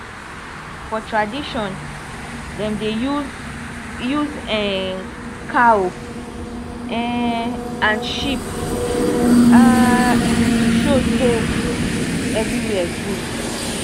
for tradition dem dey use use um cow um and sheep um to show so everywhere good